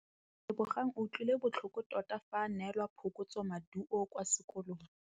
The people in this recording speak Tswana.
Lebogang o utlwile botlhoko tota fa a neelwa phokotsômaduô kwa sekolong.